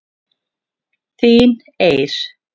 Þín Eir.